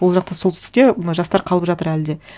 ол жақта солтүстікте мына жастар қалып жатыр әлі де